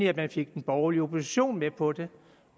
at man fik den borgerlige opposition med på det